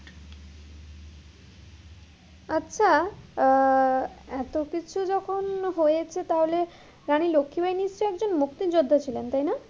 আচ্ছা আহ এতো কিছু যখন হয়েছে তাহলে রানী লক্ষি বাই নিশ্চই একজন মুক্তির যোদ্ধা ছিলেন, তাই না?